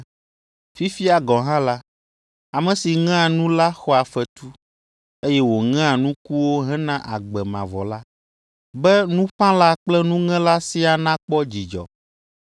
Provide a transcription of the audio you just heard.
Fifia gɔ̃ hã la, ame si ŋea nu la xɔa fetu, eye wòŋea nukuwo hena agbe mavɔ la, be nuƒãla kple nuŋela siaa nakpɔ dzidzɔ.